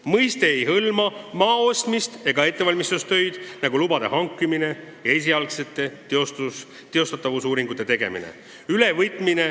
Mõiste ei hõlma maa ostmist ega ettevalmistustöid, nagu lubade hankimine ja esialgsete teostatavusuuringute tegemine.